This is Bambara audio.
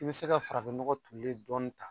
I bi se ka farafin nɔgɔ dulen dɔɔni ta